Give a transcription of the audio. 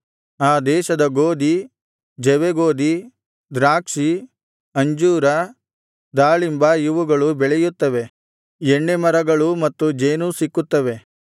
ಆ ದೇಶದಲ್ಲಿ ಗೋದಿ ಜವೆಗೋದಿ ದ್ರಾಕ್ಷಿ ಅಂಜೂರ ದಾಳಿಂಬ ಇವುಗಳು ಬೆಳೆಯುತ್ತವೆ ಎಣ್ಣೆ ಮರಗಳೂ ಮತ್ತು ಜೇನೂ ಸಿಕ್ಕುತ್ತವೆ